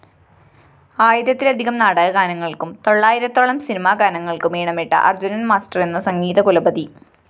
ആയിരത്തിലധികം നാടകഗാനങ്ങള്‍ക്കും തൊള്ളായിരത്തോളം സിനിമാഗാനങ്ങള്‍ക്കും ഈണമിട്ട അര്‍ജുനന്‍ മാസ്റ്ററെന്ന സംഗീതകുലപതി